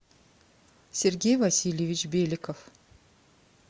сергей васильевич беликов